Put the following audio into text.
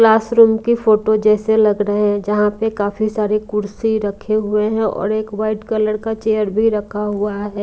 Classroom की photo जैसे लग रहे हैं जहां पे काफी सारे कुर्सी रखे हुए हैं और एक वाइट कलर का चेयर भी रखा हुआ है।